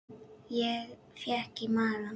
Ég fékk í magann.